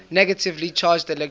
negatively charged electrons